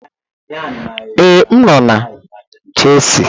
Ee, m nọ na chisel.